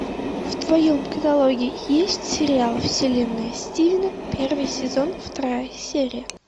в твоем каталоге есть сериал вселенная стивена первый сезон вторая серия